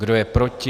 Kdo je proti?